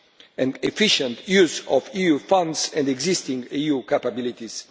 and efficient use of EU funds and existing EU capabilities.